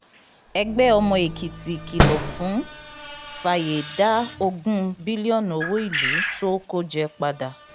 ẹgbẹ́ ọmọ èkìtì kìlọ̀ fún fàyè dá ogún bílíọ̀nù owó ìlú tó o kò jẹ́ padà